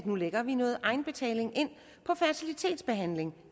nu lægger noget egenbetaling ind på fertilitetsbehandling